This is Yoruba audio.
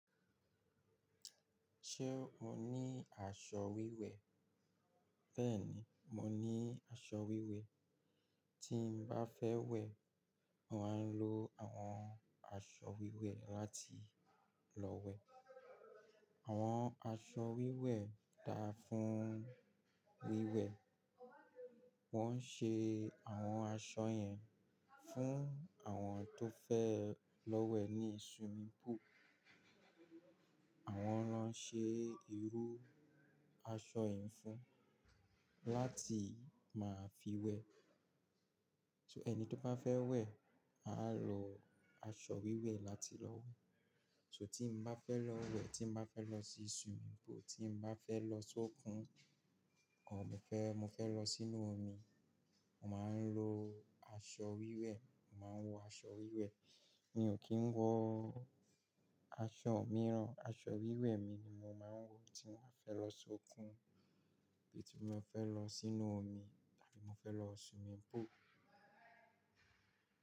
Ṣé o ní aṣọ wíwẹ̀? Bẹ́ẹ̀ni, mo ní aṣọ wíwẹ̀. Tí mo bá fẹ́ wẹ̀, mo máa ń lo àwọn aṣọ wíwẹ̀ láti lọ wẹ̀. Àwọn aṣọ wíwẹ̀ dáa fún wíwẹ̀. Wọ́n ṣe àwọn aṣọ yẹn fún àwọn tó fẹ́ lọ wẹ̀ ní swimming pool. Àwọn rán ṣe irú aṣọ yẹn fún láti máa fi wẹ̀. So ẹni tó bá fẹ́ wẹ̀ máa lo aṣọ wíwẹ̀ láti lọ wẹ̀. So tí mo bá fẹ́ lọ wẹ̀, tí mo bá fẹ́ lọ sí swimming pool, tí mo bá fẹ́ lọ sókun o mo fẹ́, mo fẹ́ lọ sínú omi, mo máa ń lo aṣọ wíwẹ̀. Mo máa ń wọ aṣọ wíwẹ̀. Mi ò kí ń wọ aṣọ mìíràn. Aṣọ wíwẹ̀ mi ni mo máa ń wọ tí mo fẹ́ lọ sókun tàbí tí mo fẹ́ lọ sínú omi tàbí mo fẹ́ lọ swimming pool.